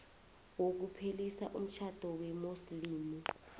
wokuphelisa umtjhado wesimuslimu